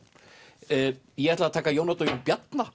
ég ætla að taka Jón Odd og Jón Bjarna